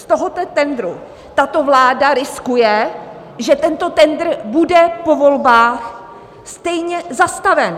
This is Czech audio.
Z tohoto tendru tato vláda riskuje, že tento tendr bude po volbách stejně zastaven.